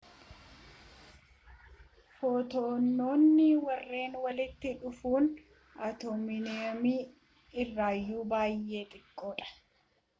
footoononni warren walitti dhufuun atoomiiumman irraayyuu baayye xiqqaadha